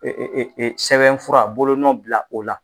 Sɛbɛnfura bolo nɔ bila o la